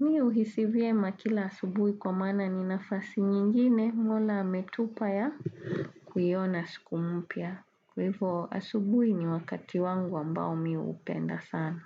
Mimi huhisivye makila asubuhi kwa maana ninafasi nyingine mola ametupa ya kuiyona sikumpya. Kwahivyo asubuhi ni wakati wangu ambao mimi hupenda sana.